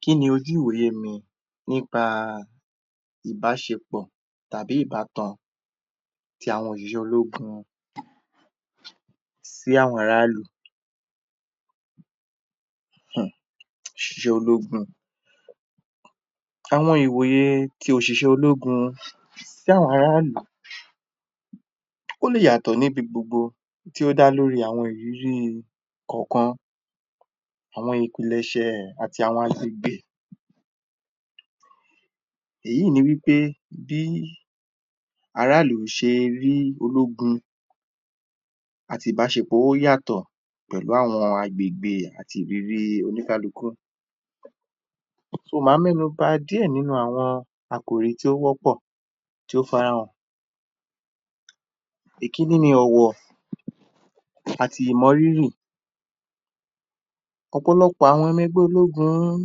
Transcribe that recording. kí ni ojú ìwòye mi nípa ìbáṣepọ̀ tàbí ìbátan tí àwọn ìyò ológun sí àwọn ara ìlú, um ṣẹ́ ológun. Àwọn ìwòye tí òṣìṣẹ́ sí àwọn ará ìlú, ó lè yàtọ̀ níbi gbogbo tí ó da lóri awọn ìrírí kánkan l, àwọn ìpìlẹsẹ̀ àti àwọn gbé. Èyí ni wípé bí aráàlú ṣe rí ológun àti ìbáṣepọ̀ ó yàtọ̀ pẹ̀lú àwọn agbègbè àti ìrírí oníkálukú. So maa mẹ́nu bá díè nínu àwọn àkòrí tó wọ́pọ̀, tó farahàn. Èkíní ni ọ̀wọ̀ àti ìmọ rírì. Ọ̀pọ̀lọpọ̀ àwọn mọ ẹgbẹ́ ológun-un